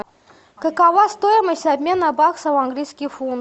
какова стоимость обмена баксов в английский фунт